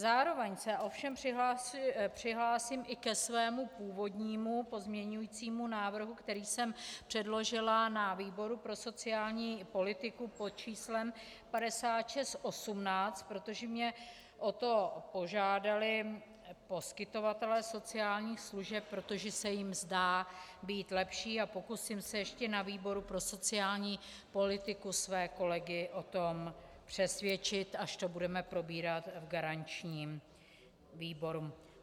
Zároveň se ovšem přihlásím i ke svému původnímu pozměňovacímu návrhu, který jsem předložila na výboru pro sociální politiku pod číslem 5618, protože mě o to požádali poskytovatelé sociálních služeb, protože se jim zdá být lepší, a pokusím se ještě na výboru pro sociální politiku své kolegy o tom přesvědčit, až to budeme probírat v garančním výboru.